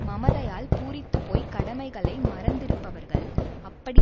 மமதையால் பூரித்துப்போய்க் கடமைகளை மறந்திருப்பவர்கள் அப்படி